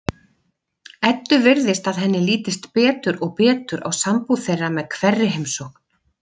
Eddu virðist að henni lítist betur og betur á sambúð þeirra með hverri heimsókn.